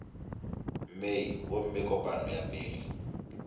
mei gomme kopano ya pele